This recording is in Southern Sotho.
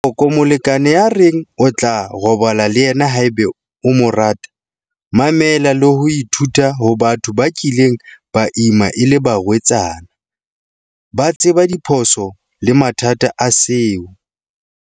Ela hloko molekane ya reng o tla robala le yena haeba o mo rata. Mamela le ho ithuta ho batho ba kileng ba ima e le barwetsana. Ba tseba diphoso le mathata a seo.